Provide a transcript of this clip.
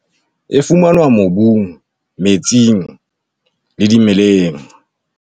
E fumanwa mobung, metsing le dimeleng.